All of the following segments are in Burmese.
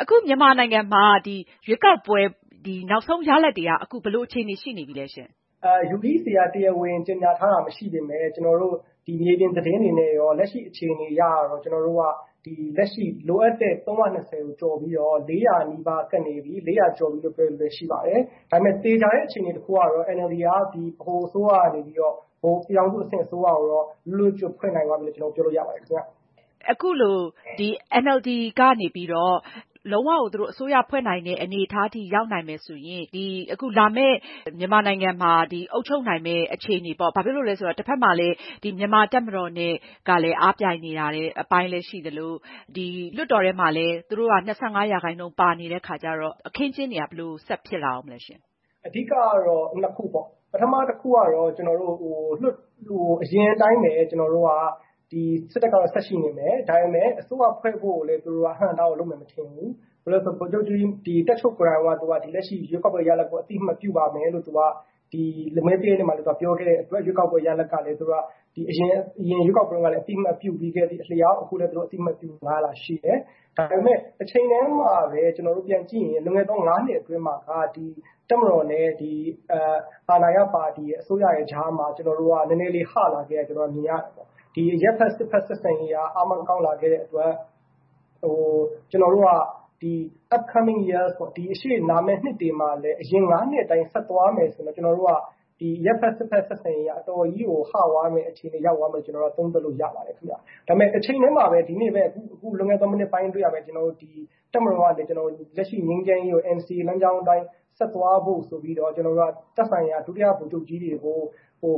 အခုမြန်မာနိုင်ငံမှာ ရွေးကောက်ပွဲ အခြေအနေက ဘယ်လိုရှိနေပြီလဲရှင့်။ UEC က တရားဝင် ကြေညာထားတာ မရှိပေမယ့် ကျနော်တို့ မြေပြင်သတင်းတွေနဲ့ရော လက်ရှိအခြေအနေအရတော့ လိုအပ်တဲ့ ၃၂၀ ကို ကျော်ပြီးတော့ ၄၀၀ နီးပါးကပ်နေပြီ။ ၄၀၀ ကျော်တယ်လို့ ပြောတဲ့လူတွေလည်းရှိပါတယ်။ ဒါပေမယ့် သေချာတဲ့အခြေအနေ တခုကတော့ NLD က ဗဟိုအစိုးရကနေပြီးတော့ ၊ ပြည်ထောင်စုအစိုးရအဆင့်ကို လွတ်လွတ်ကျွတ်ကျွတ် ဖွင့်နိုင်ပြီလို့ ပြောလိုရပါတယ်ခင်ဗျ။ အခုလို NLD ကနေပြီးတော့ လုံဝကို သူတို့ အစိုးရ ဖွဲ့နိုင်တဲ့ အနေအထားထိ ရောက်နိုင်မယ်ဆိုရင် အခုလာမယ့် မြန်မာနိုင်ငံမှာ အုပ်ချုပ်နိုင်မယ့် အခြေအနေပေါ့ ဘာဖြစ်လို့လဲဆိုတော့တဖက်မှာလည်း မြန်မာ့တပ်မတော်နဲ့ အားပြိုင်နေရတဲ့ အပိုင်းလည်းရှိသလို လွှတ်တော်ထဲမှာလည်း သူတို့က ၂၅ ရာခှိုင်နှုန်းပါနေတဲ့ အခါကျတော့ အခင်းအကျင်းတွေက ဘယ်လို ဆက်ဖြစ်လာဦးမလဲရှင့်။ အဓိကတော့ ၂ ခုပေါ့နော် ပထမတခုကတော့ အရင်အတိုင်းပဲ စစ်တပ်ကတော့ ဆက်ရှိနေမယ်။ ဒါပေမယ့် အစိုးရ ဖွဲ့ဖို့ကိုလည်း အဟန့်အတားကို လုပ်မယ်မထင်ဘူး ဘာဖြစ်လို့လဲဆိုတော့ တပ်ချုပ်ကိုယ်တိုင်က လက်ရှိ ရွေးကောက်ပွဲ ရလဒ်ကို အသိအမှတ်ပြုပါမယ်လို့ သူက မဲပေးတဲ့နေရာမှာလည်း ပြောခဲ့တဲ့အတွက် ရွေးကောက်ပွဲရလဒ်ကလည်း သူက အရင် ရွေးကောက်ပွဲမှာ အသိအမှတ်ပြုခဲ့ပြီးတဲ့အတိုင်း အခုလည်း သူတို့ အသိအမှတ်ပြုမယ့် အလားအလာရှိတယ်။ ဒါပေမယ့် တချိန်တည်းမှာပဲ ပြန်ကြည့်ရင် လွန်ခဲ့တဲ့ ၅ နှစ်အတွင်းမှာက တပ်မတော်နဲ့ ဒီ အာဏာရ ပါတီ အစိုးရတွေကြားမှာ ကျနော်တို့က နည်းနည်းလေး ဟလာခဲ့တာ မြင်ရတယ်ပေါ့။ ဒီ အရပ်ဘက် စစ်ဘက် ဆက်ဆံရေးက အားမကောင်းလာခဲ့တဲ့အတွက် ကျနော်တို့က Up coming years ပေါ့ ၊ ရှေ့လာမယ့် နှစ်တွေမှာလည်း အရင် ၅ နှစ်အတိုင်း ဆက်သွားမယ်ဆိုရင်တော့ ကျနော်တို့ အရပ်ဘက် စစ်ဘက် ဆက်ဆံရေးက အတော်ကြီးကို ဟ သွားမယ်ဆိုတဲ့ အခြေအနေကို ကျနော်တို့ သုံးသပ်လို့ ရပါတယ်ခင်ဗျ။ ဒါပေမယ့် တချိန်တည်းမှာပဲ ဒီနေ့ပဲ အခုလွန်ခဲ့တဲ့ မိနစ်ပိုင်းအတွင်းကပဲ တပ်မတော်က လက်ရှိ ငြိမ်းချမ်းရေးကို NCA လမ်းကြောင်း အတိုင်း ဆက်သွားဖို့ဆိုပြီးတော့ သက်ဆိုင်ရာ ဒုတိယ ဗိုလ်ချုပ်ကြီးတွေကို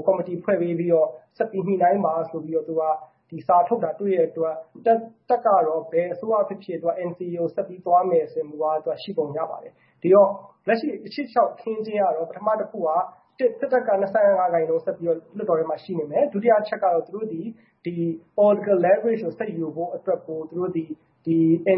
ကော်မတီ ဖွဲ့ပေးပြီးတော့ဆက်ပြီး ညှိနှိုင်းပါဆိုတဲ့ စာထုတ်တာတွေ့ရတဲ့အတွက် တပ်ကတော့ ဘယ်အစိုးရဖြစ်ဖြစ် NCA ကို ဆက်ပြီးတော့သွားမယ်ဆိုတဲ့ မူဝါဒ ရှိပုံရပါတယ်။ ဒီတော့ လက်ရှိ ရှေ့လျှောက်အခင်းအကျင်းကတော့ ပထမတခုက စစ်တပ်က ၂၅ ရာခိုင်နှုန်း ဆက်ပြီးတော့ လွှတ်တော်ထဲမှာ ရှိနေမယ် ၊ ဒုတိယအချက်ကတော့ သူတို့သည် political leverage ကို ဆက်ယူဖို့အတွက် သူတို့သည်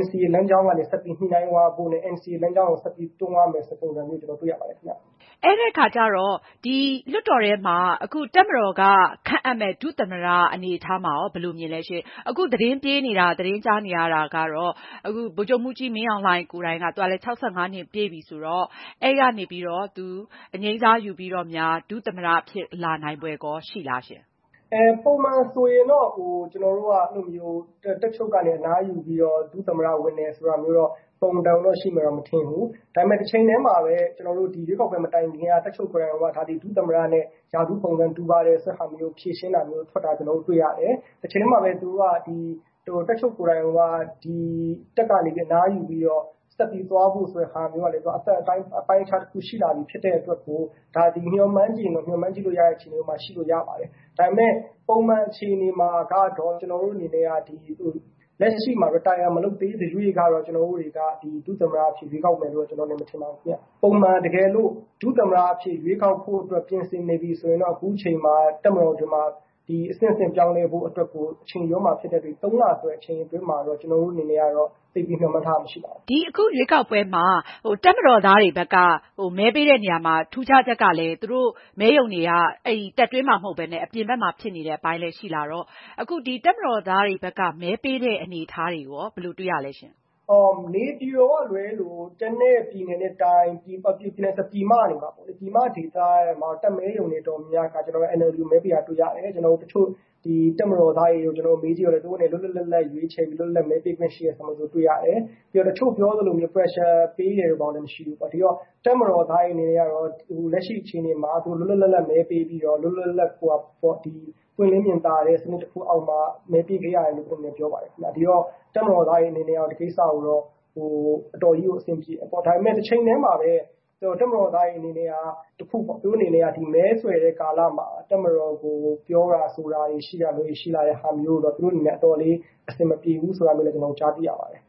NCA လမ်းကြောင်းကနေ ဆက်ပြီး ညှိနှိုင်းသွားဖို့နဲ့ NCA လမ်းကြောင်းကို ဆက်ပြီး တွန်းရမယ်ဆိုတဲ့ ပုံစံမျိုး ကျနော်တို့ တွေ့ရပါတယ်ခင်ဗျ။ အဲဒီအခါကျတော့ ဒီ လွှတ်တော်ထဲမှာ အခု တပ်မတော်က ခန့်အပ်မယ့် ဒုသမ္မတ အနေအထားမှာရော ဘယ်လိုမြင်သလဲရှင့်။ အခု သတင်းကြားနေရတာက ဗိုလ်ချုပ်မှူးကြီးမင်းအောင်လှိုင်ကိုယ်တိုင်ကလည်း ၆၅ နှစ်ပြည့်ပြီဆိုတော့ အဲဒီကနေ သူ အငြိမ်းစားယူပြီးတော့များ ဒုသမ္မတဖြစ်လာနိုင်ဖွယ်ရော ရှိလားရှင့်။ ပုံမှန်ဆိုရင်တော့ တပ်ချုပ်ကနေ အနားယူပြီးတော့ ဒုသမ္မတဝင်တယ်ဆိုတာတော့ တော်ရုံတန်ရုံတော့ ရှိမယ်မထင်ဘူး။ ဒါပေမယ့် တချိန်တည်းမှာပဲ ဒီရွေးကောက်ပွဲ မတိုင်ခင်က တပ်ချုပ်ကိုယ်တိုင်က ဒီ ဒုသမ္မတနဲ့ ရာထူးပုံစံတူပါတယ်ဆိုတာ ဖြေရှင်းတာမျိုး ထွက်ထားတာတွေ့ရတယ်။ တချိန်တည်းမှာပဲ သူက တပ်ချုပ်ကိုယ်တိုင်က တပ်ကနေပြီးတော့ အနားယူပြီးတော့ ဆက်ပြီးသွားဖို့ဆိုတဲ့ဟာမျိုးကလည်း သူက အပိုင်းအခြားတခုရှိလာပြီဖြစ်တဲ့အတွက် ဒါက မျှော်မှန်းချင်ရင်တော့ မျှော်မှန်းလို့ရတဲ့ အခြေအနေမျိုးမှာ ရှိပါတယ်။ ဒါပေမယ့် ပုံမှန်အခြေအနေမှာကတော့ ကျနော်တို့ အနေနဲ့ လက်ရှိမှာ Retire မလုပ်သေးသရွေ့ကတော့ ကျနော်တို့က ဒုသမ္မတအနေနဲ့ ရွေးကောက်မယ်လို့ မထင်ပါဘူးခင်ဗျ။ ပုံမှန်တကယ်လို့ ဒုသမ္မတအဖြစ် ရွေးကောက်ဖို့အတွက် ပြင်ဆင်နေပြီဆိုရင်တော့ အခုအချိန်မှာ တပ်မတော်အတွင်းမှာ အဆင့်ဆင့်ပြောင်းလဲဖို့အတွက်ကို အချိန်ယူရမှာဖြစ်တဲ့အတွက် ၃ လဆိုတဲ့ အချိန်မှာ ကျနော်တို့အနေနဲ့ကတော့ သိပ်ပြီးမျှော်မှန်းထားတာ မရှိပါဘူး။ ဒီအခု ရွေးကောက်ပွဲမှာ တပ်မတော်သားတွေဘက်က မဲပေးတဲ့နေရာမှာ ထူးခြားချက်ကလည်း သူတို့ မဲရုံတွေက တပ်တွင်းမှာ မဟုတ်ပဲနဲ့ အပြင်ဘက်မှာ ဖြစ်နေတဲ့ အပိုင်းလည်း ရှိလာတော့ အခုဒီ တပ်မတော်သားတွေဘက်က မဲပေးတဲ့အနေအထားတွေရော ဘယ်လိုတွေ့ရသလဲရှင့်။ နေပြည်တော်က လွဲလို့ ကျန်တဲ့ ပြည်နယ်နဲ့ တိုင်း ၊ ဒီ ပြည်မ ဒေသတွေမှာပေါ့လေ အဲဒီမှာ တပ်မဲရုံတွေ တော်တော်များများက NLD ကို မဲပေးတာတွေ့ရတယ်။ ကျနော်တို့ တချို့ တပ်မတော်သားတွေကိုလည်း မေးကြည့်တော့ သူတို့အနေနဲ့ လွတ်လွတ်လပ်လပ် ရွေးချယ်ပြီး မဲပေးခွင့်ရှိတယ်ဆိုတာ တေ့ွရတယ် တချို့ ပြောသလို Pressure ပေးတယ်ဆိုတာလည်း မရှိဘူးပေါ့နော်။ ဒီတော့ တပ်မတော်သားတွေအနေနဲ့ကတော့ လက်ရှိအခြေအနေမှာ လွတ်လွတ်လပ်လပ် မဲပေးပြီးတော့ ပွင့်လင်းမြင်သာတဲ့ စနစ်တခုအောက်မှာ မဲပေးခဲ့ရတယ်လို့ ပြောပါတယ်ခင်ဗျ။ ဒီတော့ တပ် မတော်သားတွေ အနေနဲ့ကတော့ ဒီကိစ္စကိုတော့ အတော်လေးကို အဆင်ပြေတယ်ပေါ့။ ဒါပေမယ့် တချိန်တည်းမှာပဲ တပ်မတော်သားတွေအနေနဲ့က တခုပေါ့နော် မဲဆွယ်တဲ့ ကာလမှာ တပ်မတော်ကို ပြောတာဆိုတာတွေ ရှိလာတဲ့ဟာမျိုးကိုတော့ သူတို့နဲ့ အတော်လေး အဆင်မပြေဘူး ဆိုတာလည်း ကြားသိရပါတယ်